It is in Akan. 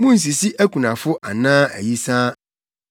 “Munnsisi akunafo anaa ayisaa;